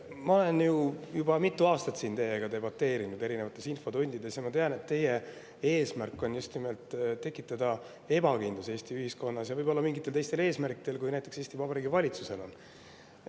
Ma olen juba mitu aastat siin teiega infotundides debateerinud ja ma tean, et teie eesmärk on just nimelt tekitada ebakindlust Eesti ühiskonnas, ja te teete seda võib-olla mingitel teistel eesmärkidel, kui näiteks Eesti Vabariigi valitsusel on.